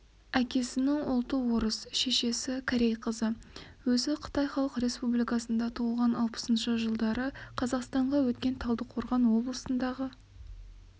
әкесінің ұлты орыс шешесі-корей қызы өзі қытай халық республикасында туылған алпысыншы жылдары қазақстанға өткен талдықорған облысындағы